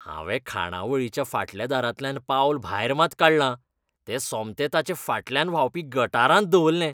हांवें खाणावळीच्या फाटल्या दारांतल्यान पावल भायर मात काडलां, तें सोमतें ताचे फाटल्यान व्हांवपी गटारांत दवरलें.